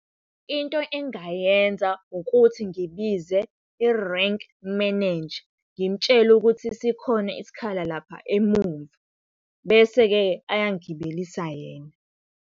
Into engingayenza ukuthi ngibize i-rank manager, ngimtshele ukuthi sikhona isikhala lapha emuva, bese-ke ayangigibelisa yena.